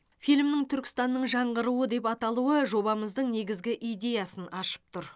фильмнің түркістанның жаңғыруы деп аталуы жобамыздың негізгі идеясын ашып тұр